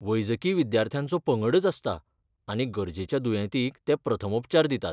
वैजकी विद्यार्थ्यांचो पंगडच आसता आनी गरजेच्या दुयेंतींक ते प्रथमोपचार दितात.